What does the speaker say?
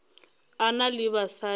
a na le basadi ba